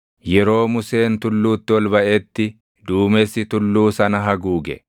Yeroo Museen tulluutti ol baʼetti duumessi tulluu sana haguuge;